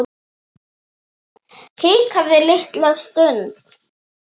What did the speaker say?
Hikaði litla stund.